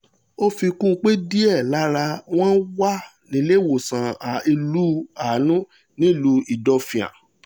ó fi kún un pé díẹ̀ lára wọn wà nílẹ́wọ̀sán ilẹ̀ ànú nílùú ìdọ́fíàn